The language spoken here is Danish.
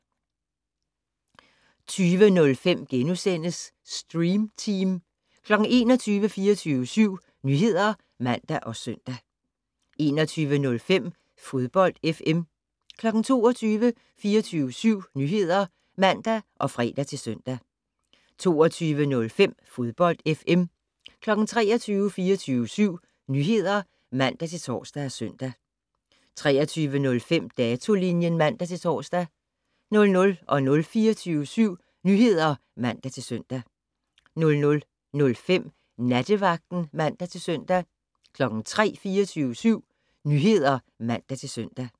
20:05: Stream Team * 21:00: 24syv Nyheder (man og søn) 21:05: Fodbold FM 22:00: 24syv Nyheder (man og fre-søn) 22:05: Fodbold FM 23:00: 24syv Nyheder (man-tor og søn) 23:05: Datolinjen (man-tor) 00:00: 24syv Nyheder (man-søn) 00:05: Nattevagten (man-søn) 03:00: 24syv Nyheder (man-søn)